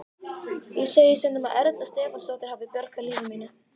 Ég segi stundum að Erla Stefánsdóttir hafi bjargað lífi mínu.